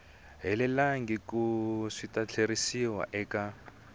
helelangiku swi ta tlheriseriwa eka